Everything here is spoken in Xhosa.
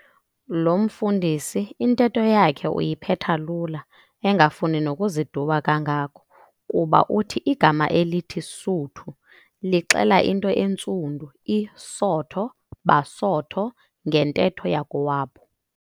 Lo mfundisi intetho yakhe uyiphetha lula, engafuni nokuziduba kangako, kuba uthi igama elithi "Suthu" lixela into entsundu i"sotho - basotho" ngentetho yakowabo.